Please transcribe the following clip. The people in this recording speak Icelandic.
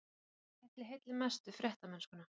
En hvað ætli heilli mest við fréttamennskuna?